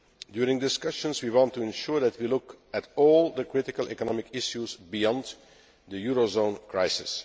During the discussions we want to ensure that we look at all the critical economic issues beyond the eurozone crisis.